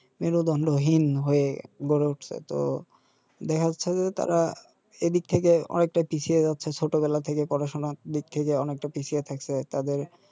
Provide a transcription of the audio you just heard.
মেরুদণ্ডহীন হয়ে গড়ে উঠছে তো দেখা যাচ্ছে যে তারা এদিক থেকে অনেকটা পিছিয়ে যাচ্ছে ছোটবেলা থেকে পড়াশোনার দিক থেকে অনেকটা পিছিয়ে থাকছে তাদের